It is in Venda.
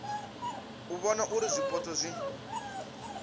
u vhona uri zwipotso zwi